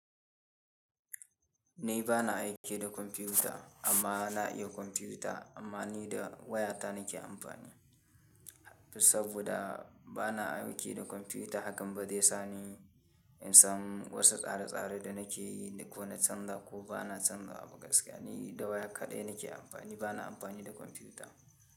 Ni ba na aiki da kwamfuta amma na iya kwamfuta amma ni da waya ta nake amfani. Saboda ba na aiki da kwamfuta hakan ba zai sani in san wasu tsare-tsare da nake yi ko na canza ko ba na canza ba gaskiya ni da waya kaɗai nake amfani ba na amfani da kwamfuta.